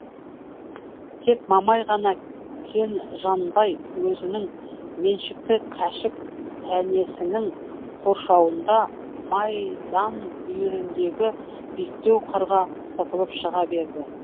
тек мамай ғана кен жанбай өзінің меншікті кәшік тәнесінің қоршауында майдан бүйіріндегі биіктеу қырға сытылып шыға берді